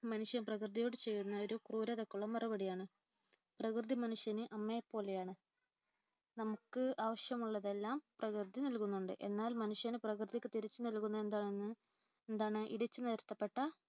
മനുഷ്യൻ പ്രകൃതിയോട് ചെയ്യുന്ന ക്രൂരതയ്ക്കുള്ള മറുപടിയാണ്. പ്രകൃതി മനുഷ്യന് അമ്മയെപ്പോലെയാണ്. നമുക്ക് ആവശ്യമുള്ളതെല്ലാം പ്രകൃതി നൽകുന്നുണ്ട്. എന്നാൽ മനുഷ്യൻ പ്രകൃതിക്ക് തിരിച്ചുനല്കുന്നതെന്താണ് ഇടിച്ചുനിരത്തപ്പെട്ട